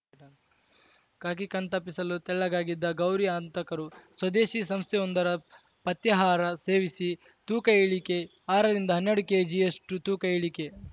ಖಾಕಿ ಕಣ್ತಪ್ಪಿಸಲು ತೆಳ್ಳಗಾಗಿದ್ದ ಗೌರಿ ಹಂತಕರು ಸ್ವದೇಶಿ ಸಂಸ್ಥೆಯೊಂದರ ಪಥ್ಯಾಹಾರ ಸೇವಿಸಿ ತೂಕ ಇಳಿಕೆ ಆರರಿಂದ ಹನ್ನೆರಡು ಕೇಜಿಯಷ್ಟುತೂಕ ಇಳಿಕೆ